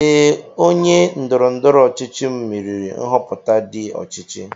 Ee, onye ndoro-ndoro ochichi m meriri nhoputa ndi ochichi.